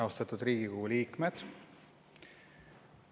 Austatud Riigikogu liikmed!